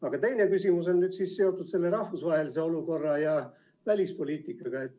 Aga teine küsimus on seotud rahvusvahelise olukorra ja välispoliitikaga.